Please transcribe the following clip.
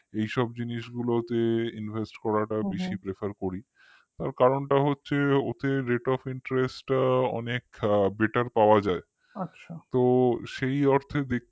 এইসব জিনিসগুলোতে invest করাটা বেশি prefer করি কারণটা হচ্ছে ওতে rate of interest টা অনেক better পাওয়া যায় তো সেই অর্থে দেখলে